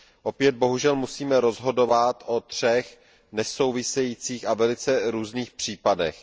Opět bohužel musíme rozhodovat o třech nesouvisejících a velice různých případech.